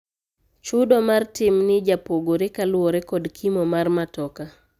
Chudo mar timni japogore kaluore kod kimo mar matoka